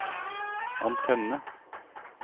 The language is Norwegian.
antenne